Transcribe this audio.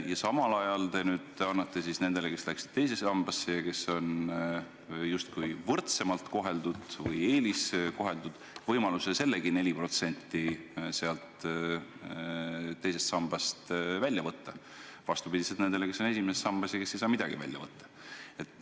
Ja samal ajal te nüüd annate nendele, kes läksid ka teise sambasse ja kes on justkui eeliskoheldud, võimaluse selle 4% sealt teisest sambast välja võtta – vastupidi nendele, kes on esimeses sambas ja kes ei saa midagi välja võtta.